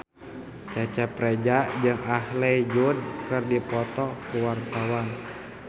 Cecep Reza jeung Ashley Judd keur dipoto ku wartawan